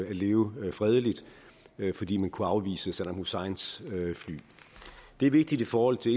at leve fredeligt fordi man kunne afvise saddam husseins fly det er vigtigt i forhold til